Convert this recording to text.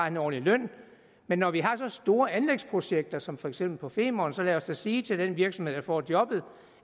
en ordentlig løn men når vi har så store anlægsprojekter som for eksempel på femern så lad os da sige til den virksomhed som får jobbet